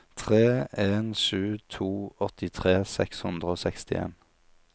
tre en sju to åttitre seks hundre og sekstien